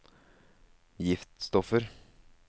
giftstoffer